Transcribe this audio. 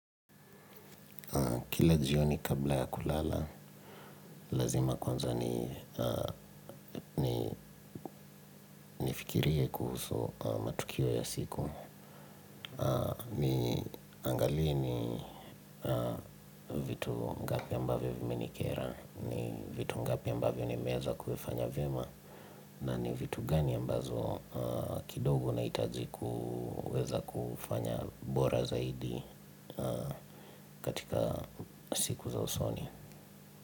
Kila jioni kabla ya kulala. Lazima kwanza nifikirie kuhusu matukio ya siku. Niangalie vitu ngapi ambavyo viminikera. Ni vitu ngapi ambavyo niwemeza kuvifanya vyema. Na ni vitu gani ambazo kidogo nahitaji kuweza kufanya bora zaidi katika siku za usoni.